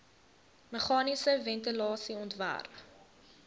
meganiese ventilasie ontwerp